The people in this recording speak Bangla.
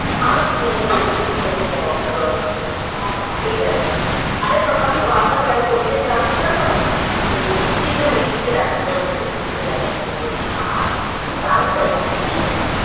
হ্যাঁ আমরা তিনজনে গেছি ঘুরতে ঘুরতে একদিন যাবো তোদের বাড়িতে। ঠিক আছে আরে তোকে আমি বারবার কেন বলছি যে আসার জন্য এই মিষ্টির জন্য মিষ্টিকে দেখার জন্য বলছি গুড্ডুকে দেখার জন্য বলছি জানিস,